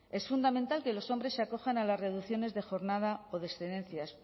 es fundamental que los hombres se acojan a las reducciones de jornada o de excedencias